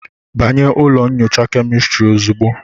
Banye ụlọ nyocha kemịstri ozugbo